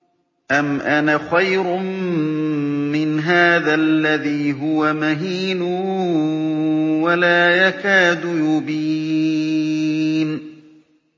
أَمْ أَنَا خَيْرٌ مِّنْ هَٰذَا الَّذِي هُوَ مَهِينٌ وَلَا يَكَادُ يُبِينُ